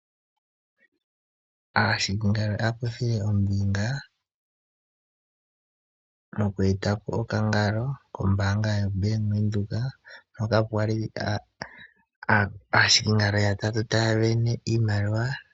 Aahikingalo oya kuthile ombinga moku eta po okangalo kombaanga yoBank Windhoek hoka kwa li aahikingalo yatatu taya sindana iimaliwa.